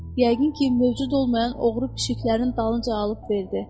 Yəqin ki, mövcud olmayan oğru pişiklərin dalınca alıb verdi.